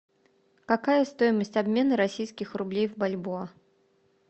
какая стоимость обмена российских рублей в бальбоа